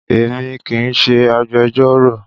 Èmi kì í ṣe agbẹjọ́rò